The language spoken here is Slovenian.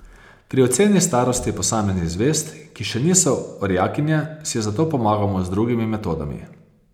Pri oceni starosti posameznih zvezd, ki še niso orjakinje, si zato pomagamo z drugimi metodami.